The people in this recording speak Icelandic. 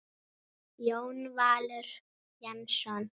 Jón Valur Jensson